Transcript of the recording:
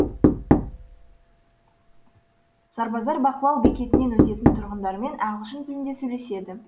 сарбаздар бақылау бекетінен өтетін тұрғындармен ағылшын тілінде сөйлеседі